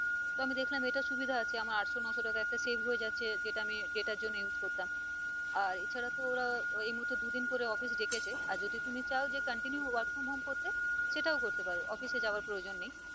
তো আমি দেখলাম এটা সুবিধা আছে আমার আটশো-নশো টাকা একটা save হয়ে যাচ্ছে যেটা আমি data আর জন্য use করতাম আর এছাড়া তো ওরা এই মুহর্তে দুদিন করে office ডেকেছে আর যদি তুমি চাও যে continue work from home করতে সেটাও করতে পারো office এ যাওয়ার যাওয়ার প্রয়োজন নেই।